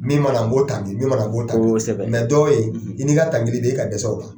Min ma na n b'o tamini, min ma na n b'o tamini dɔ be yen i ni ka tamini bɛɛ i ka dɛsɛ o la.